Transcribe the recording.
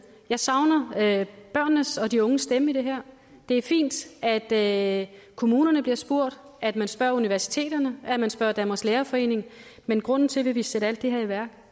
jeg savner børnenes og de unges stemme i det her det er fint at kommunerne bliver spurgt at man spørger universiteterne og at man spørger danmarks lærerforening men grunden til at vi vil sætte alt det her i værk